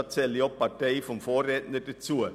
Dazu zähle ich auch die Partei meines Vorredners.